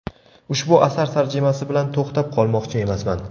Ushbu asar tarjimasi bilan to‘xtab qolmoqchi emasman.